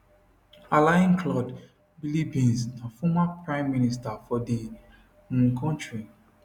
alain claude biliebynze na former prime minister for di um kontri